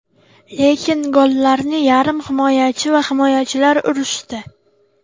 Lekin gollarni yarim himoyachi va himoyachilar urishdi.